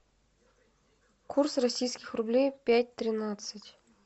курс российских рублей пять тринадцать